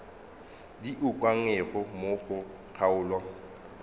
di ukangwego mo go kgaolo